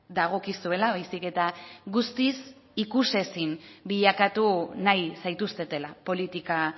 dagokizuela baizik eta guztiz ikus ezin bilakatu nahi zaituztetela politika